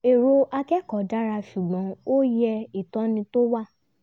erò akẹ́kọ̀ọ́ dára ṣùgbọ́n ó yẹ ìtọ́ni tó wà